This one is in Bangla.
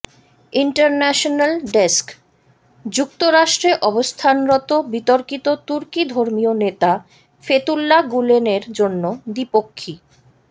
ইন্টারন্যাশনাল ডেস্কঃ যুক্তরাষ্ট্রে অবস্থানরত বিতর্কিত তুর্কি ধর্মীয় নেতা ফেতুল্লা গুলেনের জন্য দ্বিপক্ষী